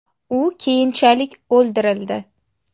U keyinchalik o‘ldirildi.